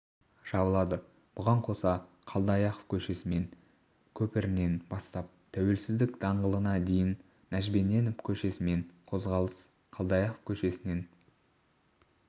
жабылады бұған қоса қалдаяков көшесімен көпірінен бастап тәуелсіздік даңғылына дейін нәжімеденов көшесімен қозғалыс қалдаяқов көшесінен